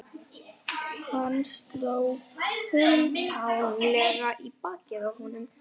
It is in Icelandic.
Hann sló kumpánlega í bakið á honum.